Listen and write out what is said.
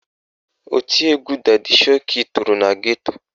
Oti egwu dadi shoki toro na geto